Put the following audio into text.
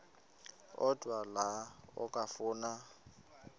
odwa la okafuna